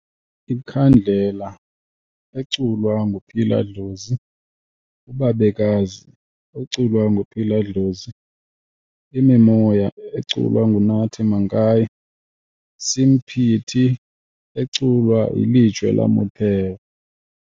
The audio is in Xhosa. Ikhandlela eculwa nguPhila Dlozi, uBabekazi eculwa nguPhila Dlozi, Imimoya eculwa nguNathi Mankayi, Semphete eculwa yiLejwe La Motheo.